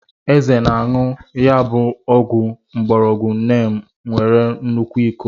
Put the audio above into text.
Eze na-a añu ya bu ogu ngborogu Neem nwere nnukwu iko.